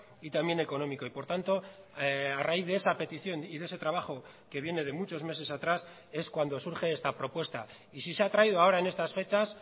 y también económico y por tanto a raíz de esa petición y de ese trabajo que viene de muchos meses atrás es cuando surge esta propuesta y si se ha traído ahora en estas fechas